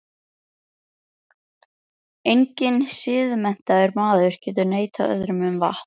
Enginn siðmenntaður maður getur neitað öðrum um vatn.